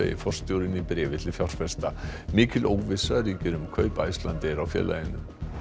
forstjórinn í bréfi til fjárfesta mikil óvissa ríkir um kaup Icelandair á félaginu